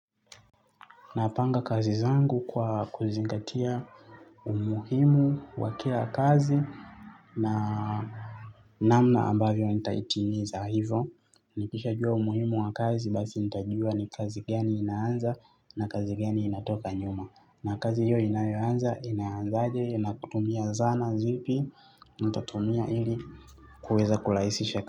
Napanga kazi zangu kwa kuzingatia umuhimu wa kila kazi na namna ambavyo nitaitimiza hivo. Nikisha jua umuhimu wa kazi, basi nitajua ni kazi gani inaanza na kazi geni inatoka nyuma. Na kazi hiyo inayoanza, inaanzaje, na kutumia zana zipi, nitatumia hili kuweza kulaisishe kazi.